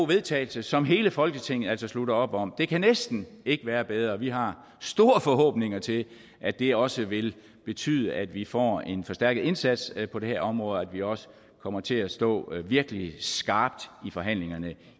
vedtagelse som hele folketinget altså slutter op om det kan næsten ikke være bedre vi har store forhåbninger til at det også vil betyde at vi får en forstærket indsats på det her område og at vi også kommer til at stå virkelig skarpt i forhandlingerne